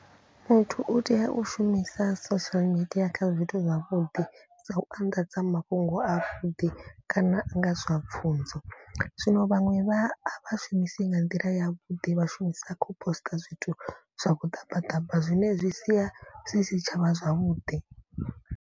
Muthu u tea u shumisa social media kha zwithu zwavhuḓi. Sa u anḓadza mafhungo a vhuḓi kana a nga zwa pfhunzo. Zwino vhaṅwe vha shumisi nga nḓila ya vhuḓi vha shumisa kho post zwithu zwa vhuḓabaḓaba. Zwine zwi sia zwi si tshavha zwavhuḓi.